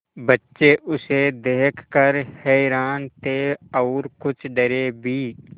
बच्चे उसे देख कर हैरान थे और कुछ डरे भी